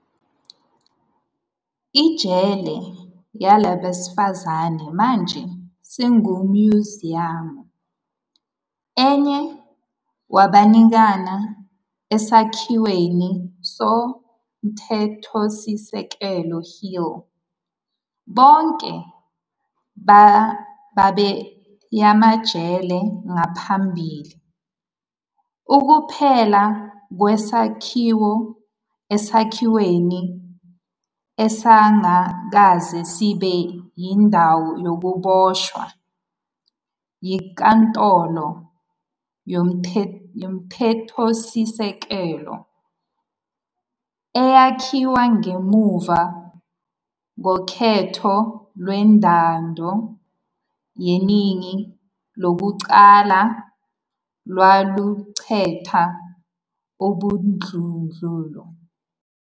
Ijele labesifazane manje sekuwumnyuziyamu, enye wabaningana esakhiweni soMthethosisekelo Hill - bonke babeyamajele ngaphambili. Ukuphela kwesakhiwo esakhiweni esasingakaze sibe yindawo yokuboshwa yiNkantolo Yomthethosisekelo, eyakhiwa ngemuva kokhetho lwentando yeningi lokuqala lwaluqeda ubandlululo.